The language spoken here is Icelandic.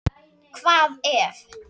Hvað ef.